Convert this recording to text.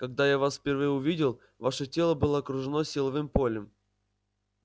когда я вас впервые увидел ваше тело было окружено силовым полем